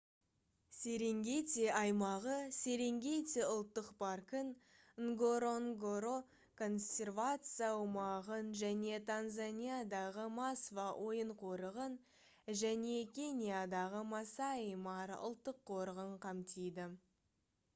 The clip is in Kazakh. серенгети аймағы серенгети ұлттық паркын нгоронгоро консервация аумағын және танзаниядағы масва ойын қорығын және кениядағы масаи мара ұлттық қорығын қамтиды